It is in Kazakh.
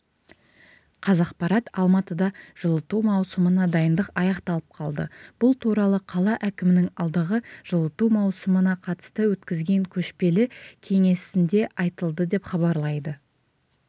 қазақпарат алматыда жылыту маусымына дайындық аяқталып қалды бұл туралы қала әкімінің алдағы жылыту маусымына қатысты өткізген көшпелі кеңесінде айтылды деп хабарлайды